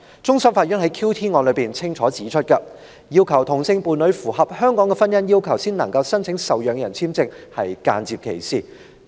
終審法院在 QT 案中清楚指出，要求同性伴侶符合香港的婚姻要求才能申請受養人簽證是間接歧視。